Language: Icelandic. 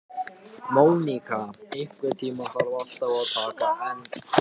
Móníka, einhvern tímann þarf allt að taka enda.